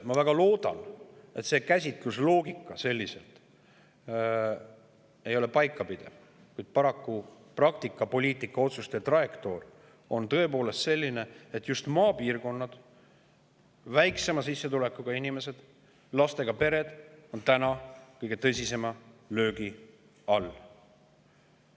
Ma väga loodan, et see käsitlusloogika ei pea paika, kuid paraku on praktikas poliitikaotsuste trajektoor tõepoolest selline, et just maapiirkonnad, väiksema sissetulekuga inimesed ja lastega pered on täna kõige tõsisema löögi all.